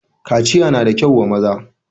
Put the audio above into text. kaciya na da kyau wa maza.